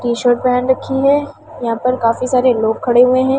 T-shirt पहन रखी है यहां पर काफी सारे लोग खड़े हुए हैं।